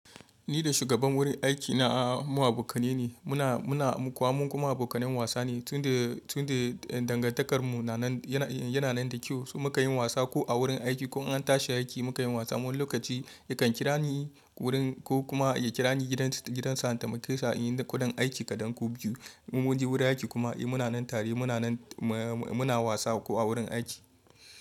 Ni da shugaban wurin aikina mu abokanai ne, muna, muna kuma abokanen wasa ne. Tun da, tun da dangantakarmu yana nan da kyau, muka yi wasa ko a wurin aiki ko in an tashi a aiki mukan yi wasa. Wani lokaci yakan kira ni wurin ko kuma ya kira ni gidan sa in taimake sa inyi ko dan aiki kaɗan ko biyu. In mun je wurin aiki kuma muna nan tare muna wasa ko a wurin aiki.